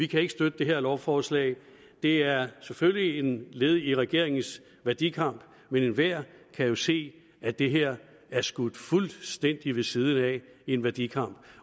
kan støtte det her lovforslag det er selvfølgelig et led i regeringens værdikamp men enhver kan jo se at det her er skudt fuldstændig ved siden af en værdikamp